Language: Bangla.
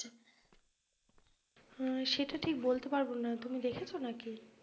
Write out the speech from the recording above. আহ সেটা ঠিক বলতে পারবোনা তুমি দেখেছো নাকি?